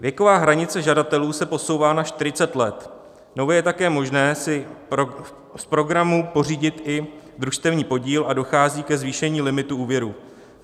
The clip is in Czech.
Věková hranice žadatelů se posouvá na 40 let, nově je také možné si z programu pořídit i družstevní podíl a dochází ke zvýšení limitu úvěru.